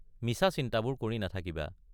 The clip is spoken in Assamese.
মিছা চিন্তাবোৰ কৰি নাথাকিবা।